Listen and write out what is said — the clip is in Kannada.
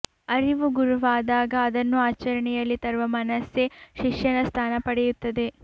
ಅರಿವು ಗುರುವಾದಾಗ ಅದನ್ನು ಆಚರಣೆಯಲ್ಲಿ ತರುವ ಮನಸ್ಸೇ ಶಿಷ್ಯನ ಸ್ಥಾನ ಪಡೆಯುತ್ತದೆ